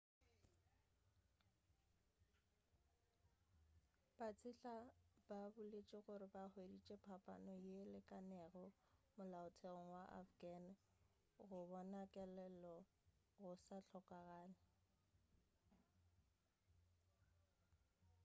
batseta ba boletše gore ba hweditše phapano yeo e lekanego molaotheong wa afghan go bona kelelo go sa hlokagale